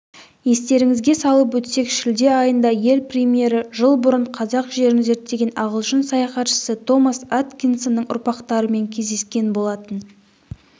естеріңізге салып өтсек шілде айында ел премьері жыл бұрын қазақ жерін зерттеген ағылшын саяхатшысы томас аткинсонның ұрпақтарымен кездескен болатын